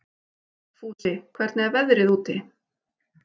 Fúsi, hvernig er veðrið úti?